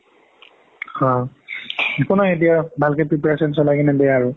অ একো নাই দিয়া ভালকে preparation চলাই কিনে দিয়া আৰু